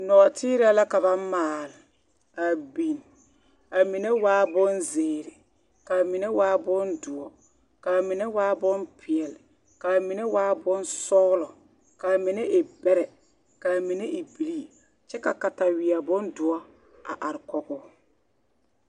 Nɔɔteerɛɛ la ka ba maale a biŋ a mine waa bonziiri ka a mine waa bondoɔ ka a mine waa bompeɛle ka a mine waa bonsɔɔlɔ ka a mine e bɛrɛ ka a mine e bilii kyɛ ka kataweɛ bondoɔ a are kɔɡe o.